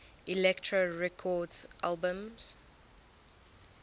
elektra records albums